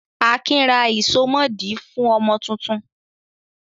Akin ra ìsomọ́ọ̀dí fún ọmọ tuntun?